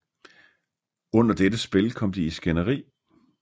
Under dette spil kom de i skænderi